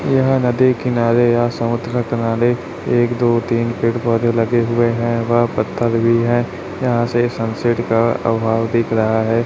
यह नदी किनारे या समुद्र किनारे एक दो तीन पेड़ पौधे लगे हुए हैं वह पत्थर भी हैं यहां से सनसेट का अभाव दिख रहा हैं।